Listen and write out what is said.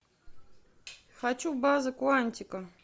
хочу база куантико